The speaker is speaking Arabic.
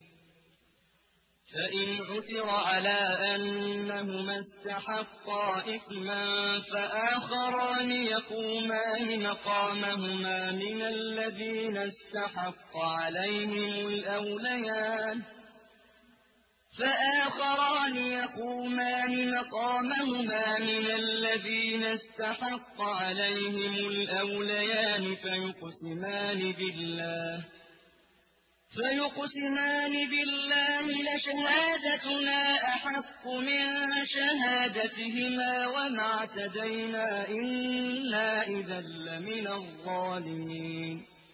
فَإِنْ عُثِرَ عَلَىٰ أَنَّهُمَا اسْتَحَقَّا إِثْمًا فَآخَرَانِ يَقُومَانِ مَقَامَهُمَا مِنَ الَّذِينَ اسْتَحَقَّ عَلَيْهِمُ الْأَوْلَيَانِ فَيُقْسِمَانِ بِاللَّهِ لَشَهَادَتُنَا أَحَقُّ مِن شَهَادَتِهِمَا وَمَا اعْتَدَيْنَا إِنَّا إِذًا لَّمِنَ الظَّالِمِينَ